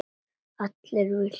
Allir vildu mér vel.